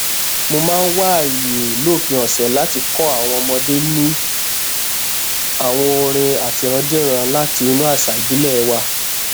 mo máa ń wá àyè lópin ọsẹ láti kó àwọn ọmọdé ní àwọn orin àtirándíran láti inú àṣà ìbílẹ wa